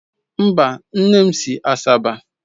Mba, nne m si Asaba